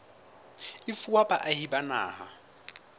e fuwa baahi ba naha